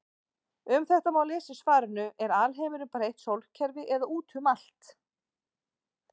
Um þetta má lesa í svarinu Er alheimurinn bara eitt sólkerfi eða út um allt?